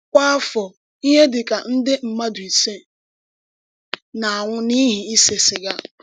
Kwá áfọ, íhè dị ka ndé mmádụ ísè na-anwụ̀ n’íhì ísè sìgà.